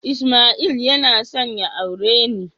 Ismail yana son ya aure ni